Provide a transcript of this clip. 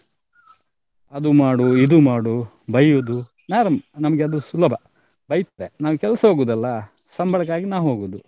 ಅದು ಮಾಡು ಇದು ಮಾಡು ಬೈಯ್ಯುದು ನಮ್ಗೆ ಅದು ಸುಲಭ ನಾವ್ ಈಗ ಕೆಲ್ಸ ಹೋಗುದಲ್ಲ ಸಂಬಳಕ್ಕಾಗಿ ನಾವ್ ಹೋಗುದು.